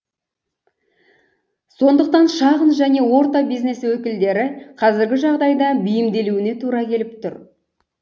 сондықтан шағын және орта бизнес өкілдері қазіргі жағдайға бейімделуіне тура келіп тұр